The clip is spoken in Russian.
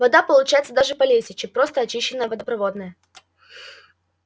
вода получается даже полезнее чем просто очищенная водопроводная